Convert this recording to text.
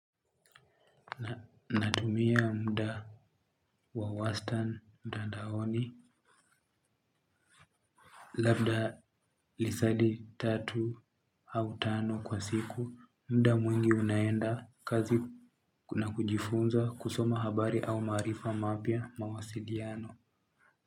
Natumia muda wa wastan mtandaoni labda masaa tatu au tano kwa siku muda mwingi ninaenda kazi na kujifunza kusoma habari au maarifa mapya, mawasiliano.